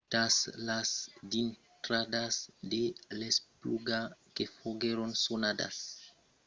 totas las dintradas de l'espeluga que foguèron sonadas las sèt sòrres fan almens 100 a 250 mètres 328 a 820 pès de diamètre